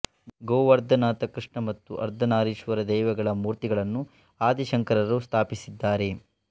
ಗೋವರ್ಧನನಾಥ ಕೃಷ್ಣ ಮತ್ತು ಅರ್ಧನಾರೀಶ್ವರ ದೈವಗಳ ಮೂರ್ತಿಗಳನ್ನು ಆದಿಶಂಕರರು ಸ್ಥಾಪಿಸಿದ್ದಾರೆ